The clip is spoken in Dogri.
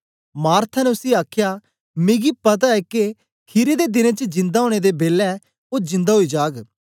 मार्था ने उसी आखया मिगी पता ऐ के खीरी दे दिनें च जिंदा ओनें दे बेलै ओ जिंदा ओई जाग